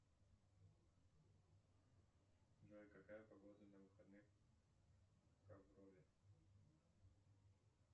джой какая погода на выходных в покрове